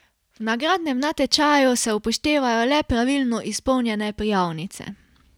V nagradnem natečaju se upoštevajo le pravilno izpolnjene prijavnice.